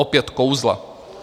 Opět kouzla.